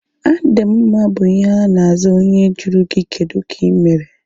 A dị m mma bụ ihe ana aza onye jụrụ gị kedụ ka ịmere